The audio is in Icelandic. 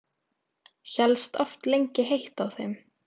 Hélst oft lengi heitt á þeim.